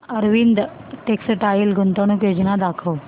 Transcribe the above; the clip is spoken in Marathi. अरविंद टेक्स्टाइल गुंतवणूक योजना दाखव